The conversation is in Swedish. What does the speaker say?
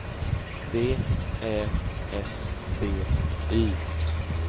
V Ä S B Y